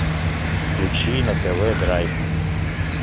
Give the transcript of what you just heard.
включи на тв драйв